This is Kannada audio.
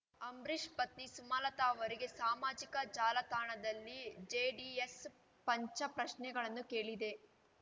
ಅಂಬರೀಶ್‌ ಪತ್ನಿ ಸುಮಲತಾ ಅವರಿಗೆ ಸಾಮಾಜಿಕ ಜಾಲತಾಣದಲ್ಲಿ ಜೆಡಿಎಸ್‌ ಪಂಚ ಪ್ರಶ್ನೆಗಳನ್ನು ಕೇಳಿದೆ